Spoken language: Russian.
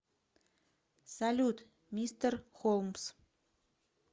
салют мистер холмс